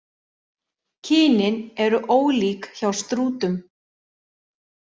Kynin eru ólík hjá strútum.